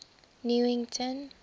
newington